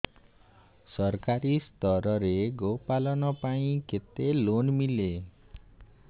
ସରକାରୀ ସ୍ତରରେ ଗୋ ପାଳନ ପାଇଁ କେତେ ଲୋନ୍ ମିଳେ